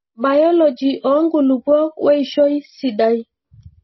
biology oo nkulupuok weishoi sidai.